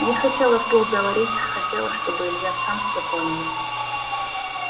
не хотела вслух говорить хотела чтобы илья сам все понял